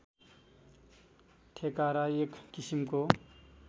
ठेकारा एक किसिमको